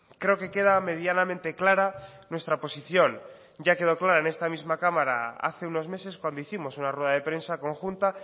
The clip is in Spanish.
creo que queda medianamente clara nuestra posición ya quedó clara en esta misma cámara hace unos meses cuando hicimos una rueda de prensa conjunta